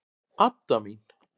Adda mín!